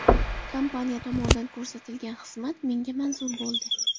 Kompaniya tomonidan ko‘rsatilgan xizmat menga manzur bo‘ldi.